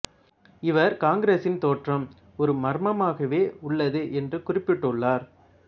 இவா் காங்கிரசின் தோற்றம் ஒரு மர்மமாகவே உள்ளது என்று கூறிப்பிட்டு உள்ளார்